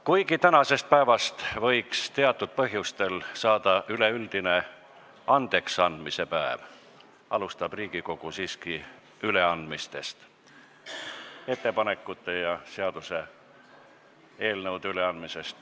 Kuigi tänasest päevast võiks teatud põhjustel saada üleüldine andeksandmise päev, alustab Riigikogu siiski üleandmistest – ettepanekute ja seaduseelnõude üleandmisest.